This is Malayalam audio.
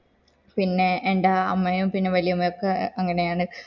പിന്നെ എണ്ട അമ്മയും വല്യമ്മയും ഒക്ക അങ്ങനെയാണ്